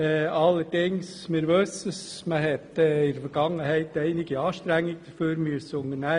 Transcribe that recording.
Allerdings wissen wir, dass man in der Vergangenheit einige Anstrengungen dafür unternehmen musste.